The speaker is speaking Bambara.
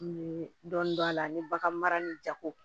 N ye dɔɔnin don a la ani bagan mara ni jago